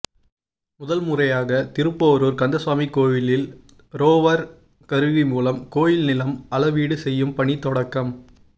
முதல்முறையாக திருப்போரூர் கந்தசுவாமி கோயிலில் ரோவர் கருவி மூலம் கோயில் நிலம் அளவீடு செய்யும் பணி தொடக்கம்